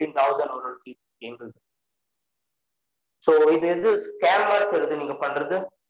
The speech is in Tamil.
fifteen thousand fees எங்களுத so இது இது scan மாதிரி தெரிது நீங்க பன்றது